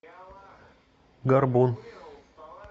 горбун